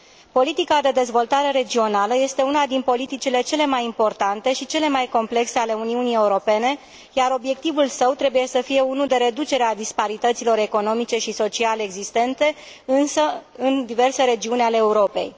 Politica de dezvoltare regională este una din politicile cele mai importante și cele mai complexe ale Uniunii Europene, iar obiectivul său trebuie să fie unul de reducere a disparităților economice și sociale existente, însă în diverse regiuni ale Europei.